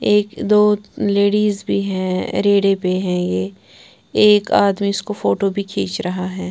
एक दो लेडिस भी है रेड़े पे हैं ये एक आदमी उसको फोटो भी खींच रहा है।